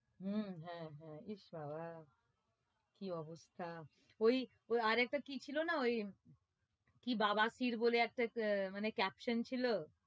হম হ্যাঁ হ্যাঁ ইশ বাবা কি অবস্থা ওই ওই আরেকটা কি ছিলোনা ওই কি বাওয়া সির বলে একটা আহ মানে caption ছিল